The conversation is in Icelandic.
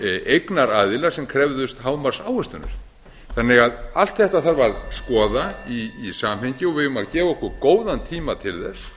eignaraðilar sem krefðust hámarksávöxtunar allt þetta þarf því að skoða í samhengi og við eigum að gefa okkur góðan tíma til þess